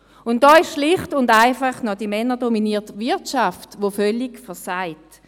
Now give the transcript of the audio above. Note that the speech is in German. Da ist schlicht und einfach noch die männerdominierte Wirtschaft, die völlig versagt.